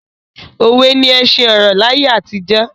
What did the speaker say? Òwe ni ẹṣin ọ̀rọ̀ laye àtijọ́